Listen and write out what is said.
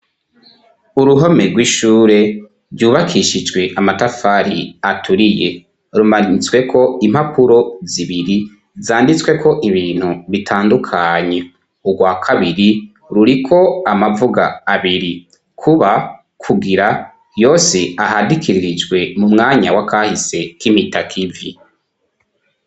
uruhome rw'ishure ryubakishijwe amatafari aturiye rumanitswe ko impapuro zibiri zanditsweko ibintu bitandukanye ugwa kabiri ruriko amavuga abiri kuba kugira yose ahadikirijwe mu mwanya w'akahise k'imitakivi